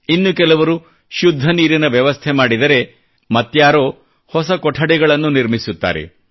ಇನ್ನು ಕೆಲವರು ಶುದ್ಧ ನೀರಿನ ವ್ಯವಸ್ಥೆ ಮಾಡಿದರೆ ಮತ್ತಾರೋ ಹೊಸ ಕೊಠಡಿಗಳನ್ನು ನಿರ್ಮಿಸುತ್ತಾರೆ